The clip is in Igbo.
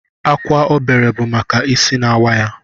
Akwa obere bụ maka isi na-awa ya